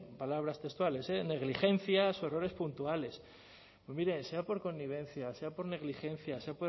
palabras textuales negligencias o errores puntuales pues mire sea por connivencia sea por negligencia sea